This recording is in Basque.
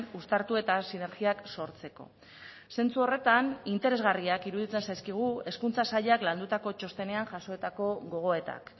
uztartu eta sinergiak sortzeko zentsu horretan interesgarriak iruditzen zaizkigu hezkuntza sailak landutako txostenean jasoetako gogoetak